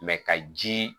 ka ji